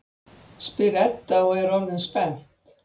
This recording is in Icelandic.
spyr Edda og er orðin spennt.